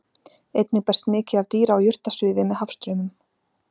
Einnig berst mikið af dýra- og jurtasvifi með hafstraumum.